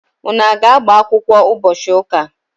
Unu aga-agbakwụkwọ ụbọchi ụka?